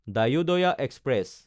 Dayodaya express